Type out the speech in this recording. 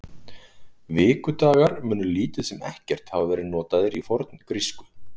Vikudagar munu lítið sem ekkert hafa verið notaðir í forngrísku.